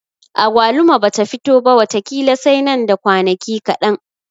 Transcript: Agwaluma bata fito ba wata ƙila sai nan da kwanaki kaɗan.